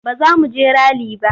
Ba za mu je rali ba.